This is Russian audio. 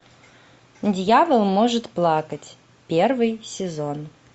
дьявол может плакать первый сезон